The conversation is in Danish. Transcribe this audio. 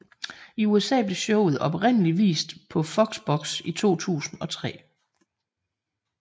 I USA blev showet oprindeligt vist på FoxBox i 2003